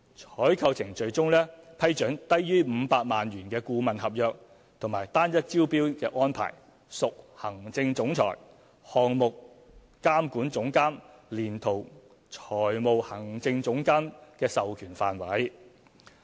採購程序中批准低於500萬元的顧問合約及單一招標安排，屬行政總裁、項目監管總監連同財務行政總監的授權範圍。